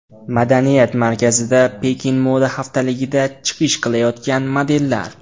Madaniyat markazida Pekin moda haftaligida chiqish qilayotgan modellar.